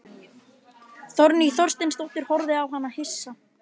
Þórný Þorsteinsdóttir horfði á hana hissa.